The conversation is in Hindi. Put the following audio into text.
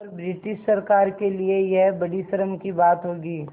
और ब्रिटिश सरकार के लिये यह बड़ी शर्म की बात होगी